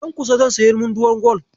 Nan kusa zan sayi munduwar gwal.